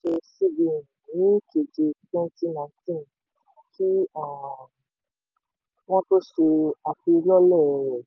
cbn ní keje twenty nineteen kí um wọ́n tó ṣe afilọ́lẹ̀ rẹ.